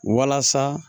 Walasa